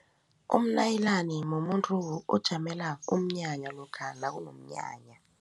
Umnayilani mumuntu ojamela umnyanya lokha nakunomnyanya.